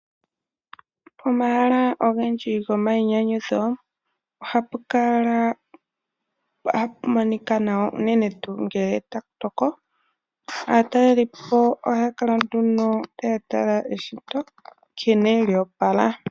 Pomahala ogendji gomainyanyudho ohapu monika nawa, unene tuu ngele taku toko. Aataleli po ohaya kala nduno taya tala eshito nkene lyo opala.